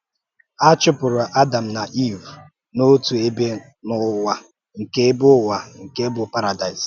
A chụ̀pụrụ Ádàm na Ìv n’òtù ebe n’ụ̀wà nke ebe n’ụ̀wà nke bụ́ Paradaịs